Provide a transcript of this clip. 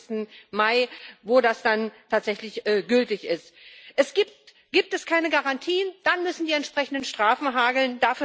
25. Mai, wenn das dann tatsächlich gültig ist. Gibt es keine Garantien, dann muss es die entsprechenden Strafen hageln.